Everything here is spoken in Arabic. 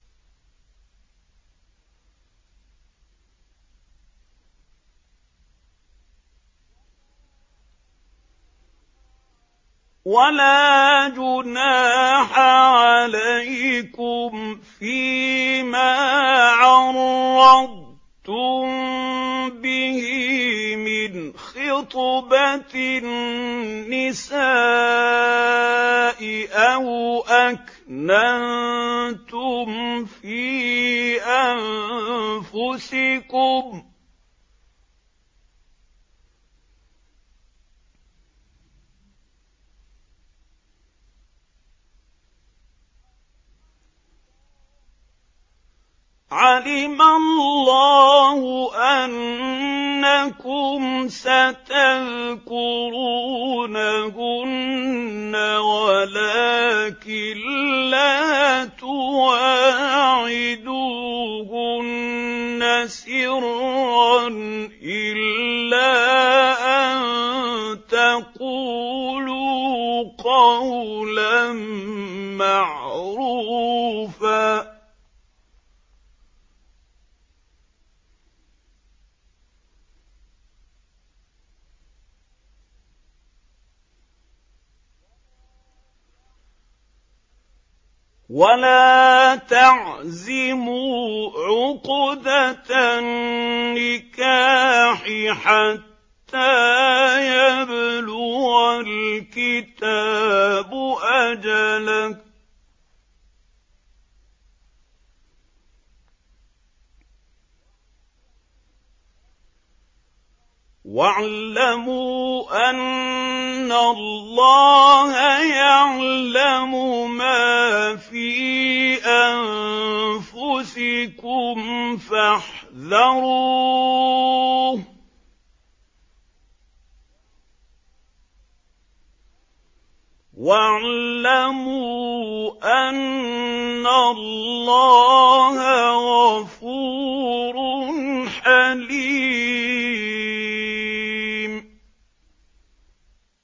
وَلَا جُنَاحَ عَلَيْكُمْ فِيمَا عَرَّضْتُم بِهِ مِنْ خِطْبَةِ النِّسَاءِ أَوْ أَكْنَنتُمْ فِي أَنفُسِكُمْ ۚ عَلِمَ اللَّهُ أَنَّكُمْ سَتَذْكُرُونَهُنَّ وَلَٰكِن لَّا تُوَاعِدُوهُنَّ سِرًّا إِلَّا أَن تَقُولُوا قَوْلًا مَّعْرُوفًا ۚ وَلَا تَعْزِمُوا عُقْدَةَ النِّكَاحِ حَتَّىٰ يَبْلُغَ الْكِتَابُ أَجَلَهُ ۚ وَاعْلَمُوا أَنَّ اللَّهَ يَعْلَمُ مَا فِي أَنفُسِكُمْ فَاحْذَرُوهُ ۚ وَاعْلَمُوا أَنَّ اللَّهَ غَفُورٌ حَلِيمٌ